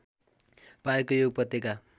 पाएको यो उपत्यका